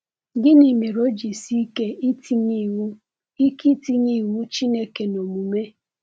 Gịnị mere o ji sie ike itinye iwu ike itinye iwu Chineke n’omume?